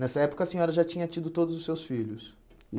Nessa época a senhora já tinha tido todos os seus filhos?